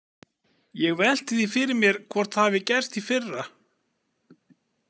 Ég velti því fyrir mér hvort það hafi gerst í fyrra.